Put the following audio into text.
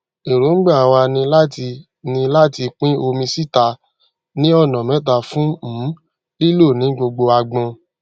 èróńgbà wa ni láti ni láti pín omi síta ní ọnà méta fún um lílò ní gbogbo agbon